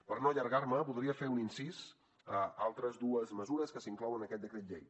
per a no allargar me voldria fer un incís a altres dues mesures que s’inclouen en aquest decret llei